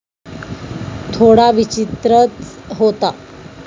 थोडा विचित्रच होता.